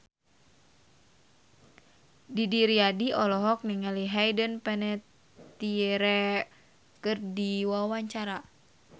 Didi Riyadi olohok ningali Hayden Panettiere keur diwawancara